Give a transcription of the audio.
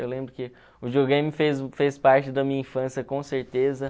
Eu lembro que o videogame fez fez parte da minha infância, com certeza